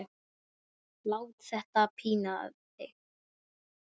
Lát þetta í þína pípu.